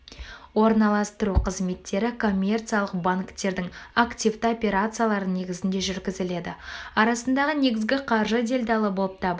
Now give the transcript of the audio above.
орналастыру қызметтері коммерциялық банктердің активті операциялары негізінде жүргізіледі арасындағы негізгі қаржы делдалы болып табылады